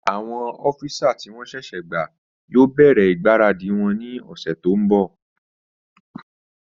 Àwọn ọ́físà tí wọ́n sẹ̀sẹ̀ gbà yóò bẹ̀rẹ̀ ìgbáradì wọn ní ọ̀sẹ̀ tó n bọ̀